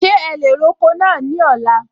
Ṣe ẹ lè roko náà ní ọ̀la?